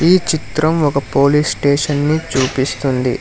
ఈ చిత్రం ఒక పోలీస్ స్టేషన్ ని చూపిస్తుంది.